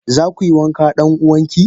Zakuyi wanka dan uwanki?